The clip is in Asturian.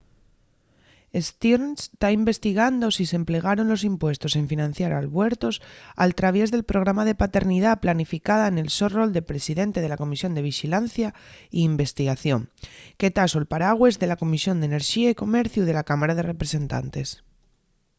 stearns ta investigando si s’emplegaron los impuestos en financiar albuertos al traviés del programa de paternidá planificada nel so rol de presidente de la comisión de vixilancia y investigación que ta sol paragües de la comisión d’enerxía y comerciu de la cámara de representantes